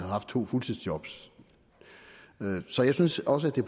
haft to fuldtidsjob så så jeg synes også